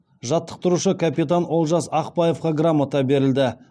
жаттықтырушы капитан олжас ақбаевқа грамота берілді